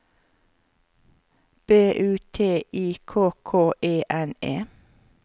B U T I K K E N E